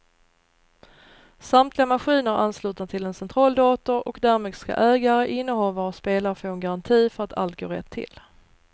Samtliga maskiner är anslutna till en centraldator och därmed ska ägare, innehavare och spelare få en garanti för att allt går rätt till.